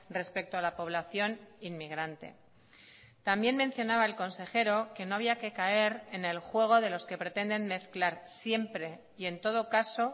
respecto a la población inmigrante también mencionaba el consejero que no había que caer en el juego de los que pretenden mezclar siempre y en todo caso